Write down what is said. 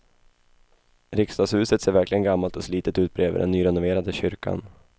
Riksdagshuset ser verkligen gammalt och slitet ut bredvid den nyrenoverade kyrkan.